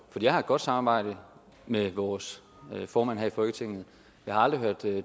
jeg har et godt samarbejde med vores formand her i folketinget jeg har aldrig hørt